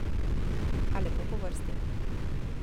A lepo po vrsti.